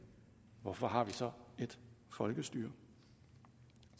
hvorfor har vi så et folkestyre